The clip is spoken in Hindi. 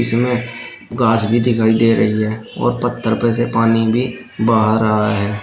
इनमें गांछ भी दिखाई दे रही है और पत्थर पर से पानी भी बह रहा है।